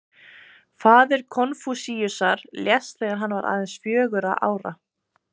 Faðir Konfúsíusar lést þegar hann var aðeins fjögurra ára.